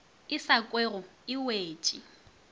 e sa kwego e wetše